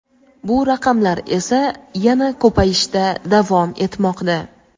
Bu raqamlar esa yana ko‘payishda davom etmoqda.